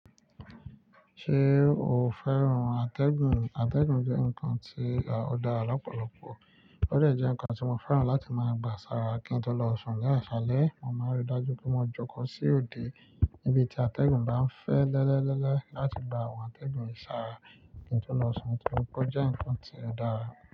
Ṣé o fẹ́ràn atẹ́gùn? Atẹ́gùn jẹ́ nǹkan tí ó dára lọ́pọ̀lọpọ̀, ó de jẹ́ nǹkan tí mo fẹ́ràn láti máa gba sára kí n tó lọ sùn. Ni asalẹ mo máa ń rí i dájú pé mo jókòó sí òde níbi tí atẹ́gùn bá ń fẹ́ lẹ́lẹ́lẹ́ láti gba àwọn atẹ́gùn yii sára kí n tó lọ sùn, ni to ri pé o jẹ́ nǹkan tí ó dára.